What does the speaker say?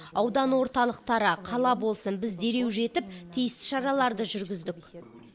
аудан орталықтары қала болсын біз дереу жетіп тиісті шараларды жүргіздік